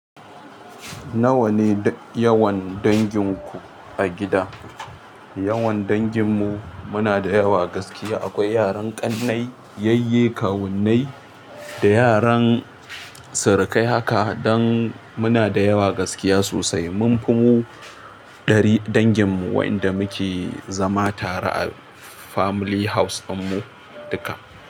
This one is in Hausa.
Nawa ne yawan danginku a gida? Yawan danginmu muna da yawa gaskiya. Akwai yaran ƙannai, yayye, kawunnai da yaran sirikai haka, dan muna da yawa gaskiya sosai, munfi mu ɗari dangin mu wa'inda muke zama tare family house ɗinmu duka.